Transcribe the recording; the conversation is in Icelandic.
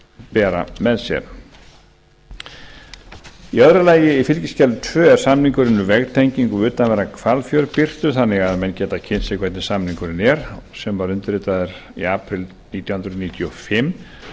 bera með sér í öðru lagi í fylgiskjali tvö er samningurinn um veggtengingu við utanverðan hvalfjörð birtur þannig að menn geta kynnt sér hvernig samningurinn er sem var undirritaður í apríl nítján hundruð níutíu og fimm